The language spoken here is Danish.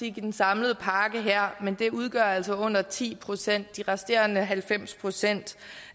i den samlede pakke her men det udgør altså under ti procent de resterende halvfems procent